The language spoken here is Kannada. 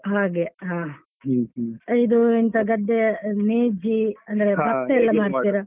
ಹಾಗೆ ಹಾ ಇದು ಎಂತ ಗದ್ದೆ ನೇಜಿ ಅಂದ್ರೆ ಬತ್ತ ಎಲ್ಲಾ ಮಾಡ್ತೀರಾ?